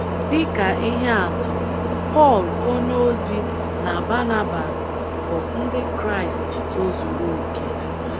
Dị ka ihe atụ, Pọl onyeozi na Banabas bụ Ndị Kraịst tozuru okè.